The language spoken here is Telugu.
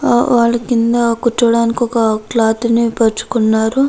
వాళ్ళు కింద కూర్చవటానికి ఒక క్లాత్ని పరుచుకున్నారు.